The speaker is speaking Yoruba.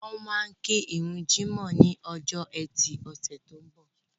Wọ́n máa kí ìrun jímọ̀ ní ọjọ́ ẹtì ọ̀sẹ̀ tó ń bọ̀